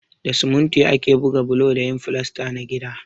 Da siminti ake buga bulo da yin filasta na gida.